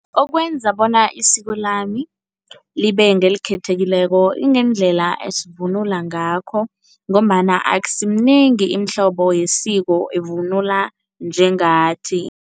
Okwenza bona isiko lami libe ngelikhethekileko ingendlela esivunula ngakho ngombana akusiminengi imihlobo yesiko evunula njengathi.